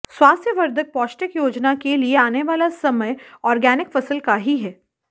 स्वास्थ्यवर्धक पौष्टिक योजना के लिए आने वाला समय आर्गेनिक फसल का ही है